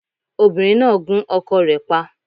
Obìnrín náà gún ọkọ rẹ̀ pa